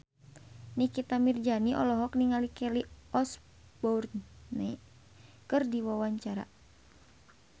Nikita Mirzani olohok ningali Kelly Osbourne keur diwawancara